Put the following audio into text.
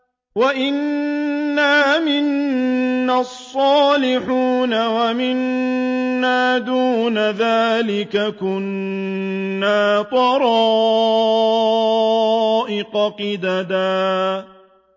وَأَنَّا مِنَّا الصَّالِحُونَ وَمِنَّا دُونَ ذَٰلِكَ ۖ كُنَّا طَرَائِقَ قِدَدًا